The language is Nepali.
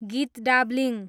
गितडब्लिङ